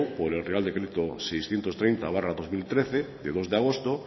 por el real decreto seiscientos treinta barra dos mil trece de dos de agosto